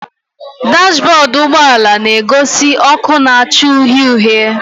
Dashbọdụ ụgbọala na-egosi ọkụ na-acha uhie uhie